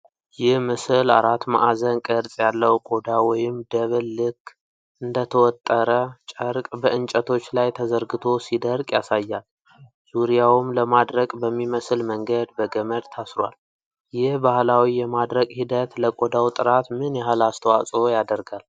ይህ ምስል አራት ማዕዘን ቅርጽ ያለው ቆዳ ወይም ደብል ልክ እንደ ተወጠረ ጨርቅ በእንጨቶች ላይ ተዘርግቶ ሲደርቅ ያሳያል። ፤ ዙሪያውም ለማድረቅ በሚመስል መንገድ በገመድ ታስሯል። ይህ ባህላዊ የማድረቅ ሂደት ለቆዳው ጥራት ምን ያህል አስተዋጽኦ ያደርጋል?